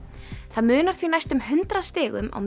það munar því næstum hundrað stigum á